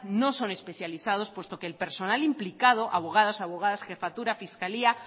no son especializados puesto que el personal implicado abogadas abogados jefatura fiscalía